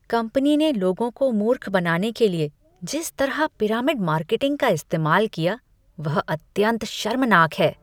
Company ने लोगों को मूर्ख बनाने के लिए जिस तरह पिरामिड मार्केटिंग का इस्तेमाल किया वह अत्यंत शर्मनाक है।